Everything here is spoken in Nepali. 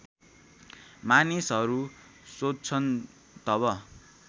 मानिसहरू सोध्छन् तब